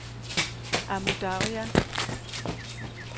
Amu Darya